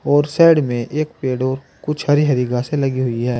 और साइड में एक पेड़ और कुछ हरी हरी घासें लगी हुई हैं।